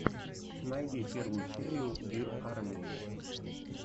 найди первую серию бир арми